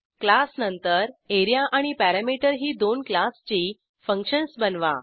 class नंतर A R E A आणि perimeter ही दोन क्लासची फंक्शन्स बनवा